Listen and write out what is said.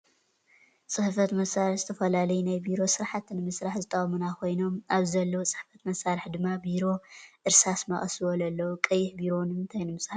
ፅሕፈት መሳሪሒ ዝተፈላለዩ ናይ ቢሮ ስራሕቲ ንምስራሕ ዘጠቅሙና ኮይኖም ኣብዚ ዘለው ፅሕፈት መሳሪሒድማ ቢሮ ፣ እርሳስ ፣መቀስ ዝበሉ ኣለው። ቀይሕ ቢሮ ንምንታይ ንምፅሓፍ ይጠቅመና ?